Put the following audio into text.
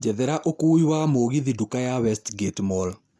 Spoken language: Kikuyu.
njethera ũkuui wa gũthiĩ ndũka ya Westgate mall